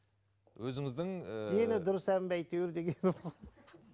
өзіңіздің ііі дені дұрыс ән бе әйтеуір дегенім